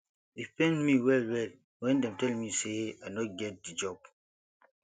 e pain me wellwell wen dem tell me sey i no get di job